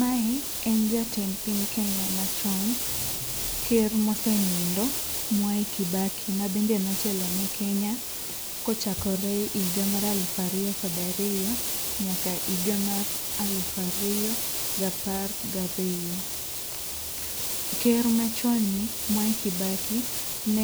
Mae en jatend piny Kenya machon ker mosenindo Mwai Kibaki mabende notelo ne Kenya kochakore e higa mar aluf ariyo kod ariyo nyaka higa mar aluf ariyo gapar gariyo. Ker machonni Mwai Kibaki ne